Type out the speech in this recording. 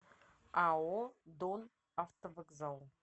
ао донавтовокзал